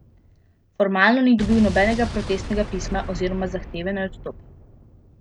Formalno ni dobil nobenega protestnega pisma oziroma zahteve, naj odstopi.